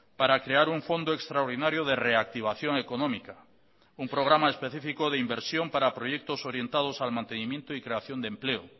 para crear un fondo extraordinario de reactivación económica un programa específico de inversión para proyectos orientados al mantenimiento y creación de empleo